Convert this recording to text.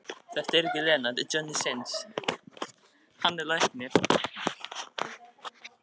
Koma Lenu til læknis strax eftir áramótin.